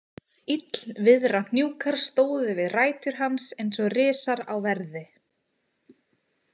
Illviðrahnjúkar stóðu við rætur hans eins og risar á verði.